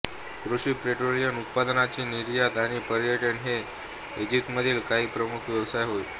कृषी पेट्रोलियम उत्पादनांची निर्यात आणि पर्यटन हे इजिप्तमधील काही प्रमुख व्यवसाय होत